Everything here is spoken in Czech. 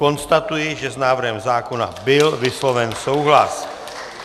Konstatuji, že s návrhem zákona byl vysloven souhlas.